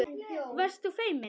Varst þú feimin?